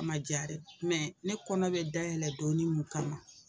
Ma ja dɛ ne kɔnɔ bɛ dayɛlɛ donni mun kama